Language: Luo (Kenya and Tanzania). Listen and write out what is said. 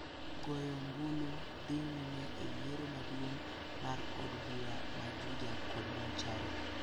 Goyo ombulu dhi nyime e yiero maduong' mar od bura ma Juja kod Bonchari.